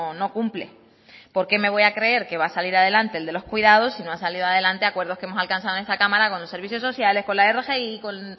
no cumple por qué me voy a creer que va a salir adelante el de los cuidados si no han salido adelante acuerdos que hemos alcanzada en esta cámara con los servicios sociales con la rgi con